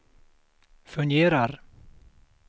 fungerar